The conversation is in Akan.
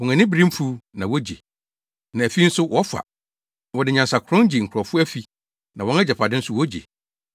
Wɔn ani bere mfuw, na wogye. Na afi nso wɔfa. Wɔde nyansakorɔn gye nkurɔfo afi, na wɔn agyapade nso wogye.